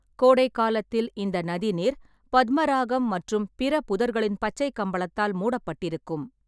கோடை காலத்தில், இந்த நதி நீர் பத்மராகம் மற்றும் பிற புதர்களின் பச்சை கம்பளத்தால் மூடப்பட்டிருக்கும்.